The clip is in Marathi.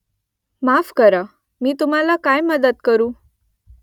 माफ करा . मी तुम्हाला काय मदत करू ?